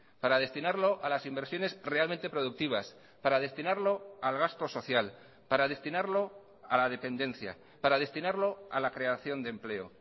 para destinarlo a las inversiones realmente productivas para destinarlo al gasto social para destinarlo a la dependencia para destinarlo a la creación de empleo